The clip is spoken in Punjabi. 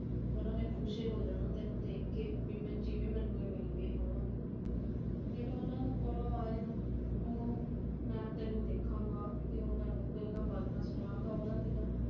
ਉਨ੍ਹਾਂ ਨੇ ਖੁਸ਼ ਹੋ ਜਾਣਾ ਤੈਨੂੰ ਦੇਖ ਕੇ ਬਈ ਮੈ ਜਿਵੇਂ ਮੈਨੂੰ ਇਹ ਮਿਲ ਗਏ ਹੋਣ । ਫਿਰ ਉਨ੍ਹਾਂ ਨੂੰ ਕੋਲੋ ਆਏ ਨੂੰ ਤੂੰ ਮੈਂ ਤੈਨੂੰ ਦੇਖਾਗਾ ਤੇ ਉਨ੍ਹਾਂ ਨੂੰ ਗੱਲਾਂ ਬਾਤਾਂ ਸੁਣਾਗਾ ਉਨ੍ਹਾਂ ਦੀਆਂ